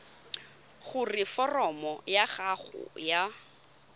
gore foromo ya gago ya